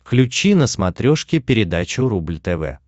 включи на смотрешке передачу рубль тв